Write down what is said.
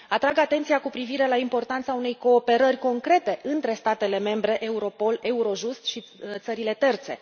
Atrag atenția cu privire la importanța unei cooperări concrete între statele membre, Europol, Eurojust și țările terțe.